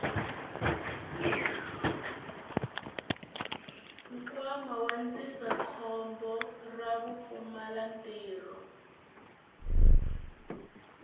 nkwama wa ndzindzakhombo ra vupfumalantirho